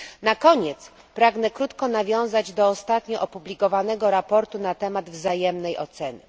Na koniec pragnę krótko nawiązać do ostatnio opublikowanego raportu na temat wzajemnej oceny.